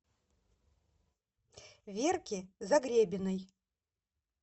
верке загребиной